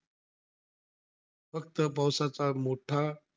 फक्त पावसाचा मोठा,